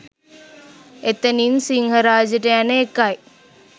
එතනින් සිංහරාජෙට යන එකයි.